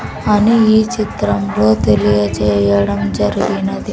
అని ఈ చిత్రంలో తెలియజేయడం జరిగినది.